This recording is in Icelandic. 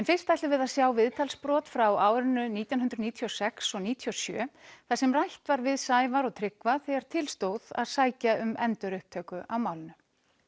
fyrst ætlum við að sjá viðtalsbrot frá árinu nítján hundruð níutíu og sex og níutíu og sjö þar sem rætt var við Sævar og Tryggva þegar til stóð að sækja um endurupptöku á málinu